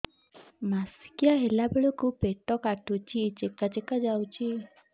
ମାସିକିଆ ହେଲା ବେଳକୁ ପେଟ କାଟୁଚି ଚେକା ଚେକା ଯାଉଚି